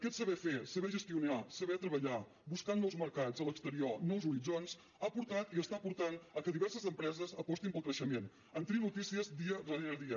aquest saber fer saber gestionar saber treballar buscar nous mercats a l’exterior nous horitzons ha portat i està portant al fet que diverses empreses apostin pel creixement en tenim notícies dia darrere dia